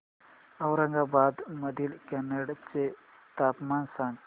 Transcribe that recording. औरंगाबाद मधील कन्नड चे तापमान सांग